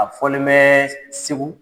A fɔlen bɛ segu